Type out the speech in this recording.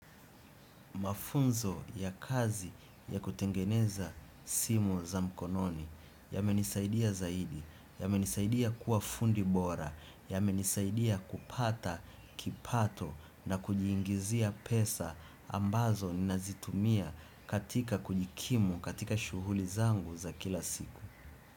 Mafunzo ya kazi ya kutengeneza simu za mkononi, yamenisaidia zaidi, yamenisaidia kuwa fundi bora, yamenisaidia kupata, kipato na kujiingizia pesa ambazo nazitumia katika kujikimu katika shuhuli zangu za kila siku.